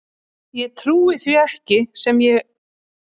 Ég trúi ekki því sem er að gerast núna.